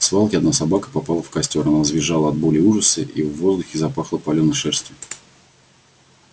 в свалке одна собака попала в костёр она завизжала от боли и ужаса и в воздухе запахло палёной шерстью